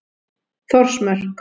Þórsmörk